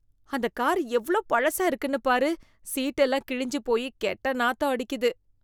அந்த கார் எவ்ளோ பழசா இருக்குன்னு பாரு. சீட் எல்லாம் கிழிஞ்சு போயி கெட்ட நாத்தம் அடிக்குது.